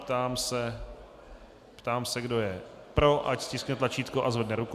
Ptám se, kdo je pro, ať stiskne tlačítko a zvedne ruku.